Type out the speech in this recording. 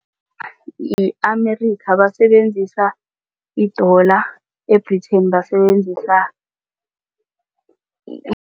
Yi-Amerika basebenzisa idola e-Britain basebenzisa